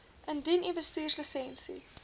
indien u bestuurslisensie